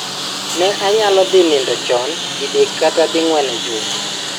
Ne anyalo dhi nindo chon didek kata ding'wen e juma.